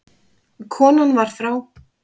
Konan var frá